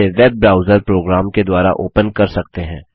जिसे web browser program के द्वारा ओपन कर सकते हैं